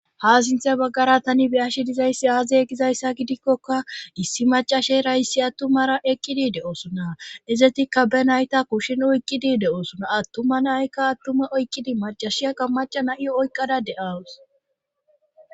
ha sinthay baggara tani biyashi dizayssi aaziyegizayssa gidikkoka issi macashe rayssi attumara eqkidi de7oosona ezetikka be nayta kushshin oykkidi de7oosona attuma naykka attume oykkidi macashiyakka maca na7iyo oykqada de7aws